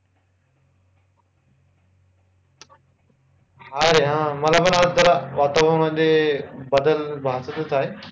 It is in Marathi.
अरे हा मला पण आज जरा वातावरण मध्ये बदल भासतेच आहे.